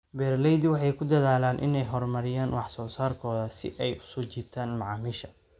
Beeraleydu waxay ku dadaalaan inay horumariyaan wax soo saarkooda si ay u soo jiitaan macaamiisha.